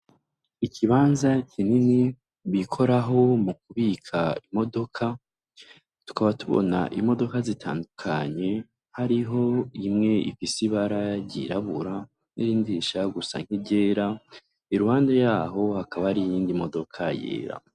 Ikibanza kinini bikoraho mukubika imodoka tukaba tubona imodoka zitandukanye hariho imwe ifise ibara ryirabura nirindi rishaka gusa nkiryera iruhande yaho hakaba hari iyindi modoka yera.